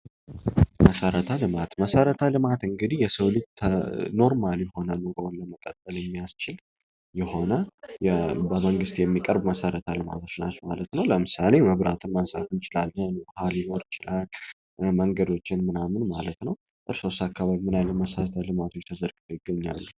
መሰረተ ልማት መሰረተ ልማት እንግዲህ የሰው ልጅ ኖርማሊ የሆነ ኖሮውን ለመቀጠል የሚያስችል የሆነ በመንግስት መሠረት ማለት ነው። መብራትም መወሰን እንችላለን ምንነት መሰረተ ልማት አለው። በርሶውስ አካባቢ ምን አይነት መሰረተ ልማቶች ተዘግተው የገኛሉ?